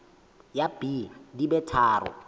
ya b di be tharo